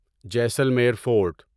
Jaisalmer fort